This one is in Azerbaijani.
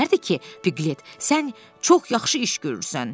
Deyərdi ki, Piglet, sən çox yaxşı iş görürsən.